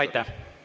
Aitäh!